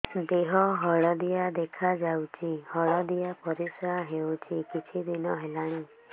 ଦେହ ହଳଦିଆ ଦେଖାଯାଉଛି ହଳଦିଆ ପରିଶ୍ରା ହେଉଛି କିଛିଦିନ ହେଲାଣି